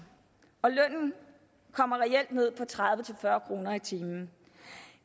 og lønnen kommer reelt ned på tredive til fyrre kroner i timen